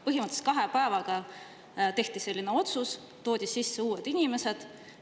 Põhimõtteliselt kahe päevaga tehti selline otsus, toodi sisse uued inimesed.